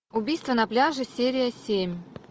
убийство на пляже серия семь